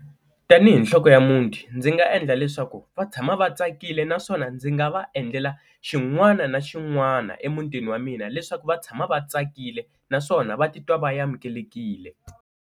Tanihi nhloko ya muti, ndzi nga endla leswaku va tshama va tsakile naswona ndzi nga va endlela xin'wana na xin'wana emutini wa mina leswaku va tshama va tsakile naswona va titwa va amukelekile.